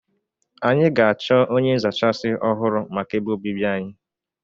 Anyị ga-achọ onye nzachasị ọhụrụ maka ebe obibi anyị